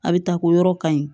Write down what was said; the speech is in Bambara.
A bɛ taa ko yɔrɔ kaɲi